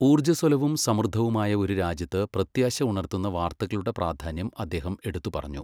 ഊർജ്ജസ്വലവും, സമൃദ്ധവുമായ ഒരു രാജ്യത്ത് പ്രത്യാശ ഉണർത്തുന്ന വാർത്തകളുടെ പ്രാധാന്യം അദ്ദേഹം എടുത്തുപറഞ്ഞു.